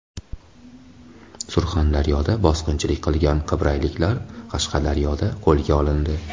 Surxondaryoda bosqinchilik qilgan qibrayliklar Qashqadaryoda qo‘lga olindi.